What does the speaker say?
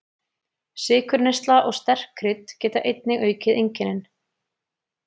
Sykurneysla og sterk krydd geta einnig aukið einkennin.